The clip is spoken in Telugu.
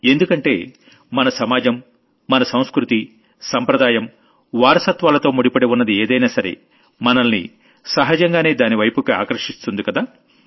ఎందుకంటే మన సమాజం మన సంస్కృతి సంప్రదాయం వారసత్వాలతో ముడిపడి ఉన్నది ఏదైనా సరే మనల్ని సహజంగానే దానివైపుకి ఆకర్షిస్తుందికదా